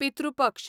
पितृ पक्ष